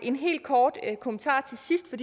en helt kort kommentar til sidst for